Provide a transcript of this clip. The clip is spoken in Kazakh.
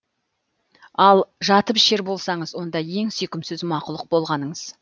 ал жатыпішер болсаңыз онда ең сүйкімсіз мақұлық болғаныңыз